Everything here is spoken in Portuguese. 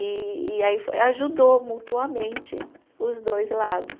E e aí foi, eh ajudou mutuamente os dois lados.